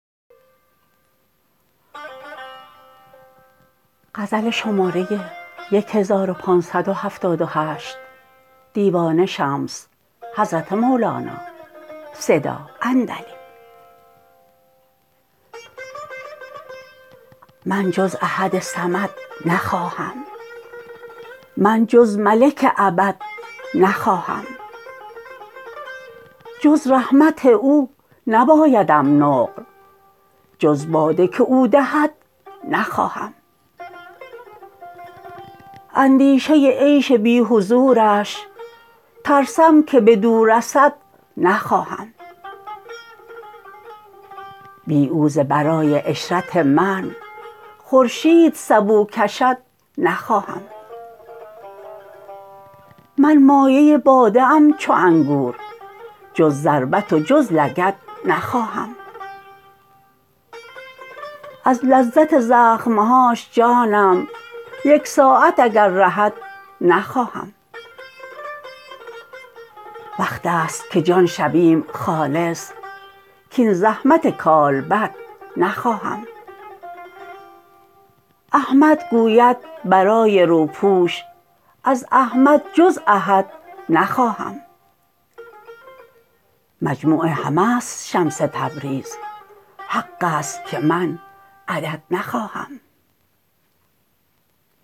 من جز احد صمد نخواهم من جز ملک ابد نخواهم جز رحمت او نبایدم نقل جز باده که او دهد نخواهم اندیشه عیش بی حضورش ترسم که بدو رسد نخواهم بی او ز برای عشرت من خورشید سبو کشد نخواهم من مایه باده ام چو انگور جز ضربت و جز لگد نخواهم از لذت زخم هاش جانم یک ساعت اگر رهد نخواهم وقت است که جان شویم خالص کاین زحمت کالبد نخواهم احمد گوید برای روپوش از احمد جز احد نخواهم مجموع همه است شمس تبریز حق است که من عدد نخواهم